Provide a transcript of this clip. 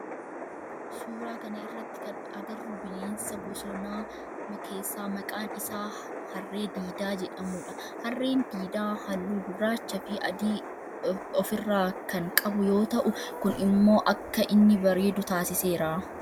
Suuraa kana irratti kan agarru bineensa bosonaa keessaa maqaan isaa harree diidaa jedhamudha. Harreen diidaa halluu gurraacha fi adii of irraa kan qabu yoo ta'u kun immoo akka inni bareedu taasiseera.